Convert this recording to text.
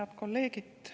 Head kolleegid!